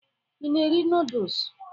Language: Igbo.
Ị na-eri nọọdụs?